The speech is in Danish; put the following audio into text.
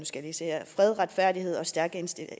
skal lige se her fred retfærdighed og stærke